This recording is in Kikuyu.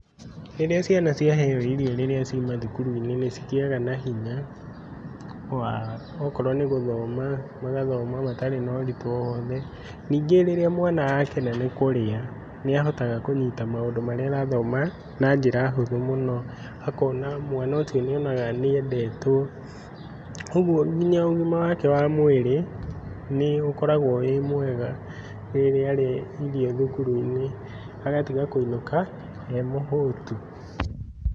Rĩrĩa ciana ciaheo irio rĩrĩa ci mathukuru-inĩ nĩcigĩaga na hinya wa, okorwo nĩ guthoma, magathoma matarĩ na ũritũ owothe. Ningĩ rĩrĩa mwana akena nĩkũrĩa nĩahotaga kũnyita maũndũ marĩa arathoma na njĩra hũthũ mũno, akona mwana ũcio nĩonaga nĩendetwo. Ogũo nginya ũgima wake wa mwĩrĩ nĩũkoragwo wĩmwega rĩrĩa arĩa irio thukuru-inĩ agatiga kũinũka emũhũtu.